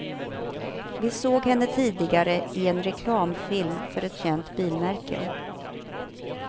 Vi såg henne tidigare i en reklamfilm för ett känt bilmärke.